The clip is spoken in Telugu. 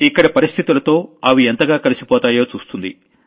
ఇక్కడ పరిస్థితులతో అవి ఎంతగా కలిసిపోతాయో చూస్తుంది